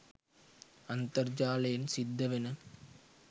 අන්තර්ජාලයෙන් සිද්ද වෙන